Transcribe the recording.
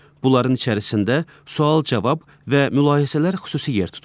Bunların içərisində sual-cavab və mülahizələr xüsusi yer tutur.